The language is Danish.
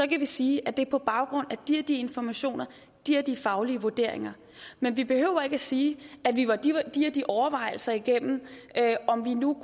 kan vi sige at det er på baggrund af de og de informationer de og de faglige vurderinger men vi behøver ikke at sige at vi var de og de de overvejelser igennem om vi nu